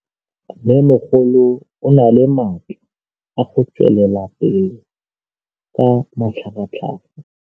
Mmêmogolo o na le matla a go tswelela pele ka matlhagatlhaga.